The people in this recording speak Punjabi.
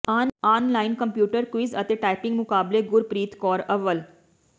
ਆਨ ਲਾਈਨ ਕੰਪਿਊਟਰ ਕੁਇਜ ਅਤੇ ਟਾਈਪਿੰਗ ਮੁਕਾਬਲੇ ਗੁਰਪ੍ਰੀਤ ਕੌਰ ਅੱਵਲ